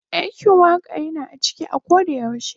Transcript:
Dakin Waka Yana a cike a koyaushe.